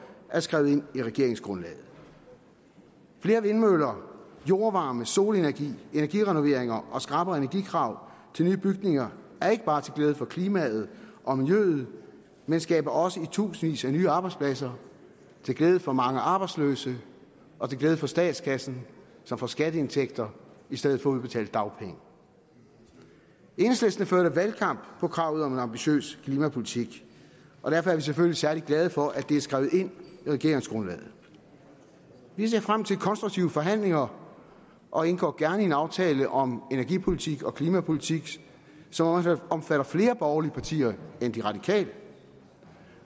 er skrevet ind i regeringsgrundlaget flere vindmøller jordvarme solenergi energirenoveringer og skrappere energikrav til nye bygninger er ikke bare til glæde for klimaet og miljøet men skaber også i tusindvis af nye arbejdspladser til glæde for mange arbejdsløse og til glæde for statskassen som får skatteindtægter i stedet for at udbetale dagpenge enhedslisten førte valgkamp på kravet om en ambitiøs klimapolitik og derfor er vi selvfølgelig særlig glade for at det er skrevet ind i regeringsgrundlaget vi ser frem til konstruktive forhandlinger og indgår gerne en aftale om energipolitik og klimapolitik som også omfatter flere borgerlige partier end de radikale